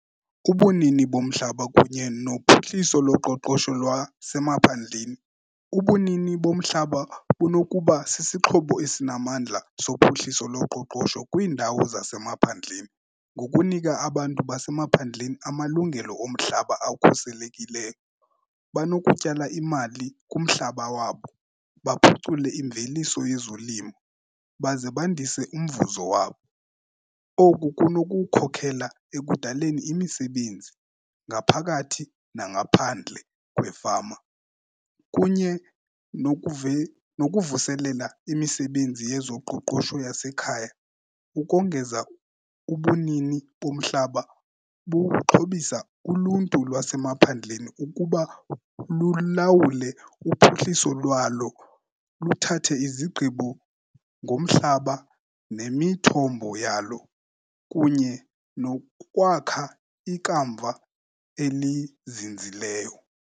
Ubunini bomhlaba kunye nophuhliso loqoqosho lwasemaphandleni. Ubunini bomhlaba bunokuba sisixhobo esinamandla sophuhliso loqoqosho kwiindawo zasemaphandleni. Ngokunika abantu basemaphandleni amalungelo omhlaba akhuselekileyo banokutyala imali kumhlaba wabo, baphucule imveliso yezolimo baze bandise umvuzo wabo. Oku kunokukhokela ekudaleni imisebenzi ngaphakathi nangaphandle kwefama kunye nokuvuselela imisebenzi yezoqoqosho yasekhaya. Ukongeza, ubunini bomhlaba buxhobisa uluntu lwasemaphandleni ukuba lulawule uphuhliso lwalo, luthathe izigqibo ngomhlaba nemithombo yalo, kunye nokwakha ikamva elizinzileyo.